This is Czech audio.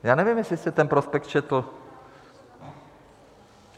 Já nevím, jestli jste ten prospekt četl.